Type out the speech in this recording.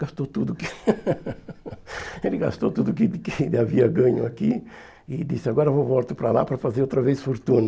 Gastou tudo o que... Ele gastou tudo o que que ele havia ganho aqui e disse, agora eu volto para lá para fazer outra vez fortuna.